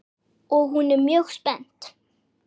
Og hún er mjög spennt.